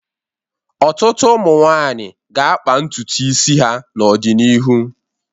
Ọtụtụ ụmụ nwaanyị ga-akpa ntutu isi ha n'ọdịnihu.